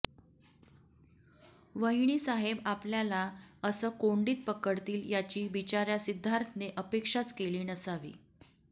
वहिनीसाहेब आपल्याला असं कोंडीत पकडतील याची बिचाऱ्या सिद्धार्थने अपेक्षाच केली नसावी